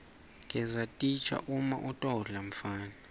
gesa titja uma utodla mfana